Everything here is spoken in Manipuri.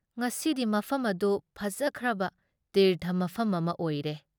ꯉꯁꯤꯗꯤ ꯃꯐꯝ ꯑꯗꯨ ꯐꯖꯈ꯭ꯔꯕ ꯇꯤꯔꯊ ꯃꯐꯝ ꯑꯃ ꯑꯣꯏꯔꯦ ꯫